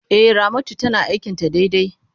E, Ramatu tana aikin ta daidai.